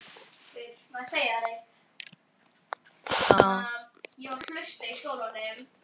Flysjið eplin og brytjið niður.